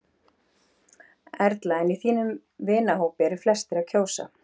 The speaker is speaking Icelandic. Erla: En í þínum vinahópi, eru flestir að kjósa?